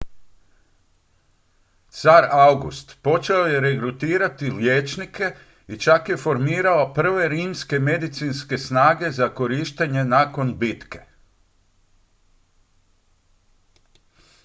car august počeo je regrutirati liječnike i čak je formirao prve rimske medicinske snage za korištenje nakon bitke